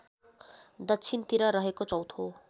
दक्षिणतिर रहेको चौथो